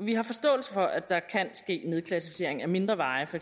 vi har forståelse for at der kan ske nedklassificering af mindre veje for